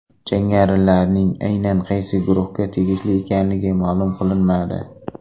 Jangarilarning aynan qaysi guruhga tegishli ekanligi ma’lum qilinmadi.